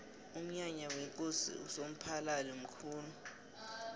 umnyanya wekosi usomphalili mkhulu